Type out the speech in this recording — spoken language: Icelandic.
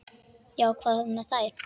Já, hvað með þær?